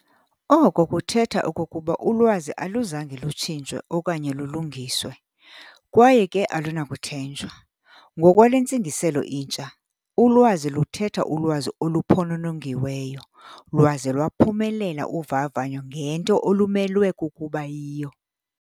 "" Oko kuthetha okokuba ulwazi aluzange lutshintshwe okanye lulungiswe, kwaye ke alunakuthenjwa. Ngokwale ntsingiselo intsha, ulwazi luthetha ulwazi oluphononongiweyo, lwaze lwaphumelela uvavanyo ngento olumelwe kukuba yiyo.